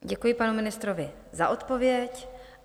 Děkuji panu ministrovi za odpověď.